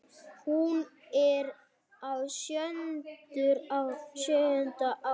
Hún er á sjöunda ári